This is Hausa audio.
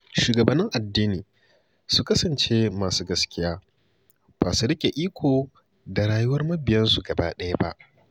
Shugabannin addini su kasance masu gaskiya, ba su riƙe iko da rayuwar mabiyansu gaba ɗaya ba.